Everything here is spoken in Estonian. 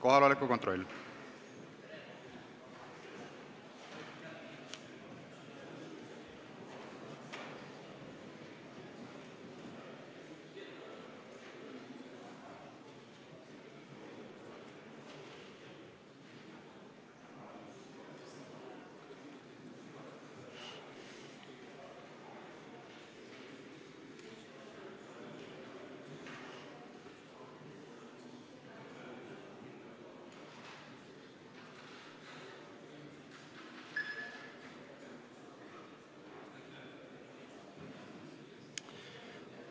Kohaloleku kontroll